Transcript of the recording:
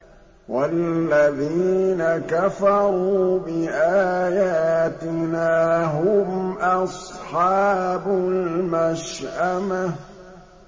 وَالَّذِينَ كَفَرُوا بِآيَاتِنَا هُمْ أَصْحَابُ الْمَشْأَمَةِ